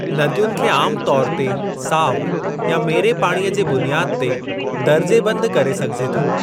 नदियुनि खे आम तौरु ते साफ़ या मेरे पाणीअ जी बुनियादु ते दर्जाबंदि करे सघिजे थो।